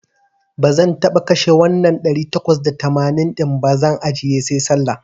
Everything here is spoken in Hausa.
Bazan taba kashe wannan ɗari takwas da tamanin din ba, zan ajjiye sai Sallah.